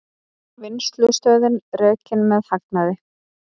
Vinnslustöðin rekin með hagnaði